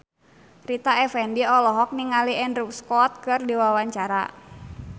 Rita Effendy olohok ningali Andrew Scott keur diwawancara